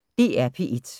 DR P1